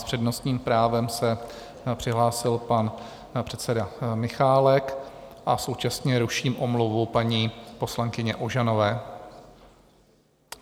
S přednostním právem se přihlásil pan předseda Michálek a současně ruším omluvu paní poslankyně Ožanové.